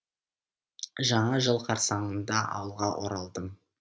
жаңа жыл қарсаңында ауылға оралдым